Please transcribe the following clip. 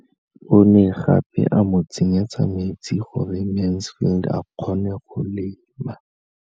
O ne gape a mo tsenyetsa metsi gore Mansfield a kgone go lema.